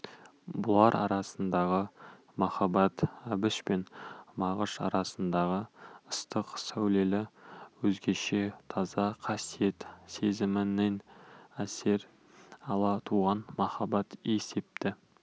бұлар арасындағы махаббат әбіш пен мағыш арасындағы ыстық сәулелі өзгеше таза қасиет сезімінен әсер ала туған махаббат есепті